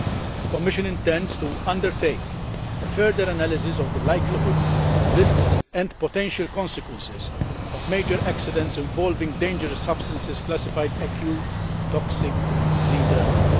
EC. The Commission intends to undertake a further analysis of the likelihood, risks and potential consequences of major accidents involving dangerous substances classified acute toxic 3 dermal.